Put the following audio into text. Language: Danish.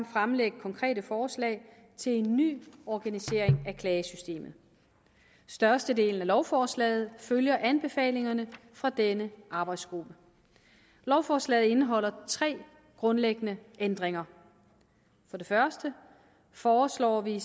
fremlægge konkrete forslag til en ny organisering af klagesystemet størstedelen af lovforslaget følger anbefalingerne fra denne arbejdsgruppe lovforslaget indeholder tre grundlæggende ændringer for det første foreslår vi